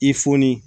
I foni